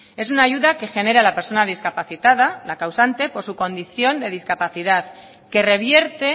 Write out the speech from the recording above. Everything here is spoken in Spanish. es una ayuda que genera la persona discapacitada la causante por su condición de discapacidad que revierte